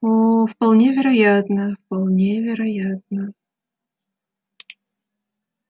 о вполне вероятно вполне вероятно